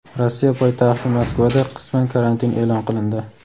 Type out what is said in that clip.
Rossiya poytaxti Moskvada qisman karantin e’lon qilindi.